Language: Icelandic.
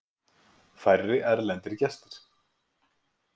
Færri erlendir gestir